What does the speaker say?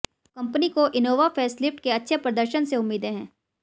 अब कंपनी को Innova facelift के अच्छे प्रदर्शन से उम्मीदें हैं